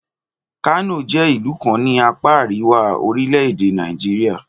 Kano jẹ́ ìlú kan ní apáa àríwá orílẹ̀-èdè Nàìjíríà